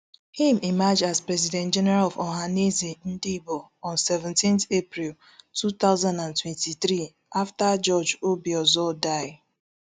im emerge as president general of ohanaeze ndigbo on seventeen april two thousand and twenty-three afta george obiozor die